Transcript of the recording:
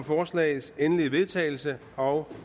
forslagets endelige vedtagelse og